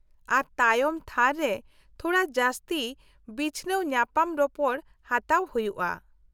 -ᱟᱨ ᱛᱟᱭᱚᱢ ᱛᱷᱟᱹᱨ ᱨᱮ ᱛᱷᱚᱲᱟ ᱡᱟᱹᱥᱛᱤ ᱵᱤᱪᱷᱱᱟᱹᱣ ᱧᱟᱯᱟᱢ ᱨᱚᱯᱚᱲ ᱦᱟᱛᱟᱣ ᱦᱩᱭᱩᱜᱼᱟ ᱾